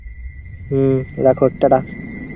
হম রাখো ta-ta.